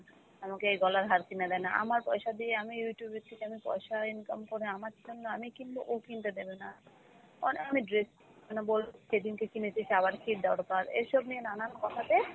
আমাকে এই গলার হার কিনে দেয় না। আমার পয়সা দিয়ে আমি Youtube এর থেকে আমি পয়সা income করে আমার জন্য আমি কিনব ও কিনতে দেবে না। অনেক আমি dress মানে বল সেদিনকে কিনেছিস আবার কী দরকার, এসব নিয়ে নানান কথাতে,